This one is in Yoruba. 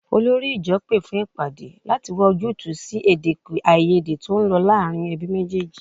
Olórí ìjọ pé fún ìpàdé láti wá ojútùú sí èdèàìyedè tó ń lọ láàárín ẹbí méjèèjì